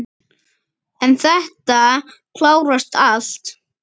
En þetta klárast allt.